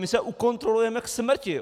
My se ukontrolujeme k smrti.